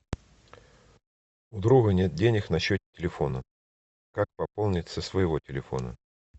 у друга нет денег на счете телефона как пополнить со своего телефона